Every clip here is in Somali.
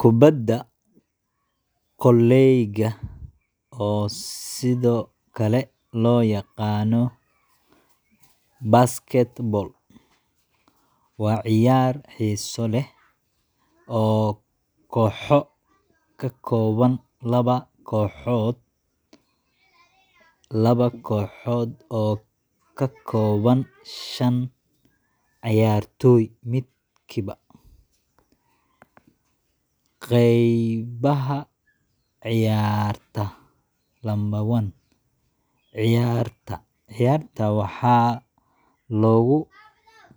Kubadda kolayga, oo sidoo kale loo yaqaan basketball, waa ciyaar xiiso leh oo kooxo ka kooban laba kooxood oo ka kooban shan ciyaartoy midkiiba. ### Qaybaha Ciyaarta: 1. **Ciyaarta**: Ciyaarta waxaa lagu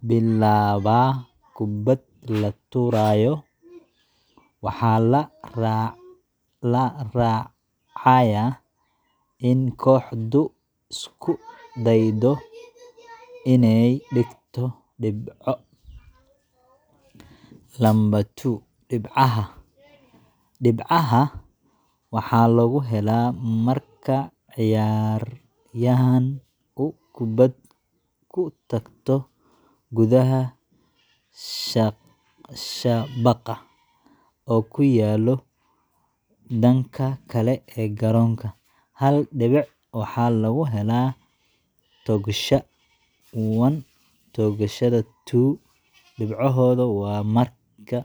bilaabaa kubad la tuurayo, waxaana la raacayaa in kooxdu isku daydo inay dhigto dhibco. 2. **Dhibcaha**: Dhibcaha waxaa lagu helaa marka ciyaaryahan uu kubadda ku toogto gudaha shabaqa, oo ku yaal dhanka kale ee garoonka. Hal dhibic waxaa lagu helaa toogashada 1, toogashada 2 dhibcoodna waa marka la toogto ka baxsan xariiqda 3 dhibcood. ### Qawaaniinta: - **Socodka**: Ciyaaryahan ma socon karo isagoo aan kubadda ku toosin. Haddii uu taas sameeyo, waxaa loo arkaa “socod”. - **Gacanta**: Lama oggola in la taabto ciyaaryahanka kale marka uu kubadda haysto. Haddii la sameeyo, waxaa la bixinayaa ganaax. ### Ujeedada: Ujeeddada ciyaarta waa in kooxdu ay hesho dhibco badan intii suurtagal ah. Ciyaarta waxay ka kooban tahay afar gabo, mid walbana wuxuu soconayaa 12 ilaa 15 daqiiqo, iyadoo ku xiran tarta